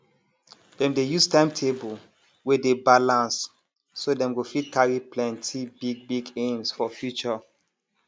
dem dey use time table wey dey balanced so dem go fit carry plenty big big aims for future